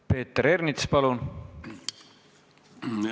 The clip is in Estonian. Peeter Ernits, palun!